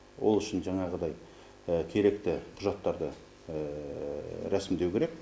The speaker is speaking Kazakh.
ол үшін жаңағыдай керекті құжаттарды рәсімдеу керек